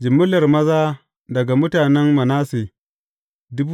Jimillar maza daga mutanen Manasse ne.